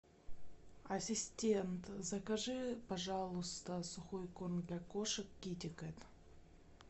ассистент закажи пожалуйста сухой корм для кошек китекат